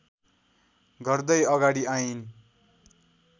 गर्दै अगाडि आइन्